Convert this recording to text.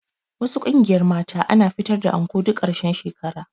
Wasu ƙungiyar mata ana fitar da anko duk ƙarshen shekara